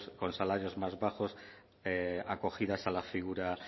con salarios más bajos acogidas a la figura